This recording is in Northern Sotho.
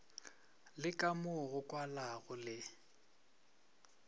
le kamo go kwalago le